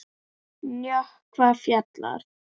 Nökkvi Fjalar.